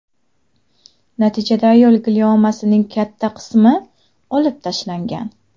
Natijada ayol gliomasining katta qismi olib tashlangan.